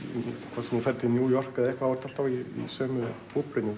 hvort sem þú ferð til New York eða eitthvað þá ertu alltaf í sömu